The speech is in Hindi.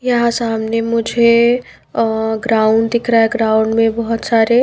यहां सामने मुझे अ ग्राउंड दिख रहा है ग्राउंड में बहुत सारे--